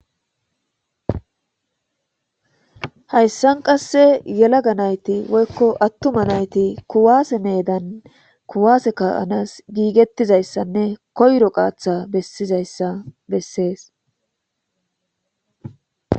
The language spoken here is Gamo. hayssan qasse yelaga nayti woykko attuma nayti kuwaase meedan kuwaase ka'anas giigettizayssanne koyro qaatha bessizayssa bessees